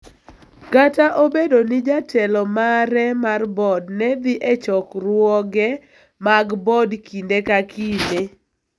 kata obedo ni jatelo mare mar board ne dhi e chokruoge mag board kinde ka kinde.